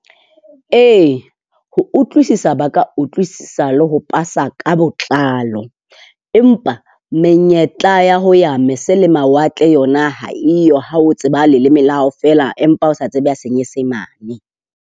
E, ho utlwisisa ba ka utlwisisa le ho pasa ka botlalo empa menyetla ya ho ya mese le mawatle yona ha e yo ha o tseba leleme la hao fela, empa o sa tsebe ya Senyesemane.